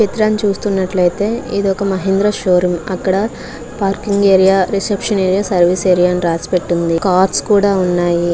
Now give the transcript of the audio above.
ఈ చిత్రం చూస్తూనట్లయితే ఇది ఒక మహేంద్ర షో రూమ్ అక్కడ parking area reception area service area అని రాసి పెట్టి ఉంది కార్స్ కూడా ఉన్నాయి.